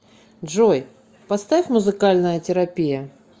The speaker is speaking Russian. джой поставь музыкальная терапия